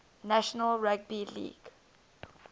national rugby league